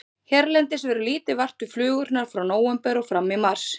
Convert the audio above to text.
Hérlendis verður lítið vart við flugurnar frá nóvember og fram í mars.